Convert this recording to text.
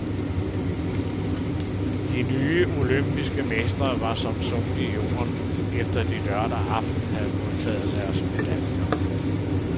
De nye olympiske mestre var som sunket i jorden, efter de lørdag aften havde modtaget deres medaljer.